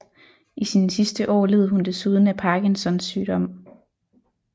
I sine sidste år led hun desuden af Parkinsons sygdom